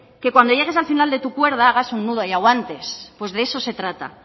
que cuando llegues al final de tu cuerda hagas un nudo y aguantes pues de eso se trata